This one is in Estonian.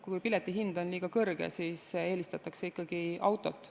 Kui piletihind on liiga kõrge, siis eelistatakse ikkagi autot.